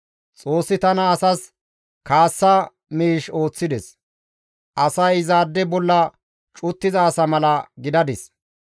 «Xoossi tana asas kaassa miish ooththides; asay izaade bolla cuttiza asa mala gidadis.